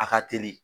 A ka teli